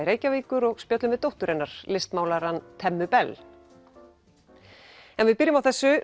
Reykjavíkur og spjöllum við dóttur hennar listmálarann Temmu Bell en við byrjum á þessu